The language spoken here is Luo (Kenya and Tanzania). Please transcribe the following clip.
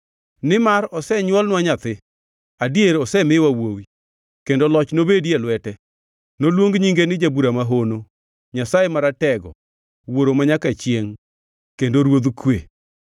Nimar osenywolnwa nyathi, adier osemiwa wuowi, kendo loch nobedi e lwete. Noluong nyinge ni Jabura Mahono, Nyasaye Maratego, Wuoro Manyaka Chiengʼ kendo Ruodh Kwe.